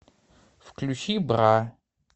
включи бра